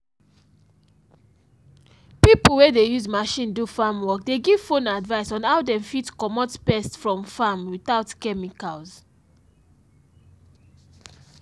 pipo wey dey use machine do farm work dey give phone advice on how dem fit comot pest from farm without chemicals